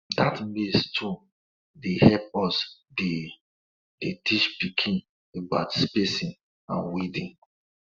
dat maize tune dey help us dey dey teach pikin about spacing and weeding